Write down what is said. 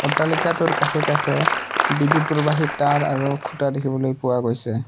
অট্টালিকাটোৰ কাষে কাষে বিদ্যুৎ প্ৰৱাহি তাঁৰ আৰু খুঁটা দেখিবলৈ পোৱা গৈছে।